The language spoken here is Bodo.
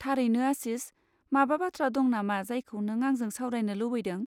थारैनो आशिस, माबा बाथ्रा दं नामा जायखौ नों आंजों सावरायनो लुबैदों?